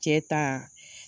Cɛ ta